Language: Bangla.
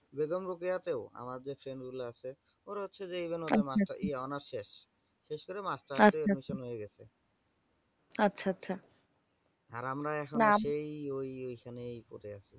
আমাদের friend গুলো আছে ওরা হচ্ছে যে এই গুলো এই honours শেষ। শেষ করে masters এ admission হয়ে গেছে। । আর আমরা এখনো হচ্ছে এই এইখানে কোথায় আছি।